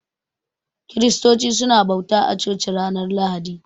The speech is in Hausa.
Kiristoci su na bauta a coci ranar lahadi